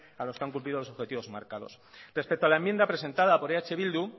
a los que han cumplido los objetivos marcados respecto a la enmienda presentada por eh bildu